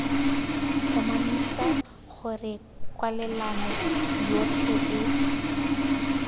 tlhomamisa gore kwalelano yotlhe e